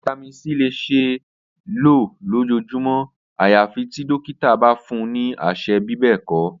Vitamin c le ṣee lo lojoojumọ ayafi ti dokita ba fun ni aṣẹ bibẹẹkọ.